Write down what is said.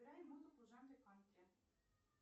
играй музыку в жанре кантри